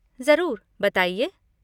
ज़रूर, बताइए।